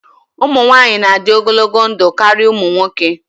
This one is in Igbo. Ụmụ nwanyị na-adị ogologo ndụ karịa ụmụ nwoke.